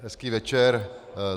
Hezký večer.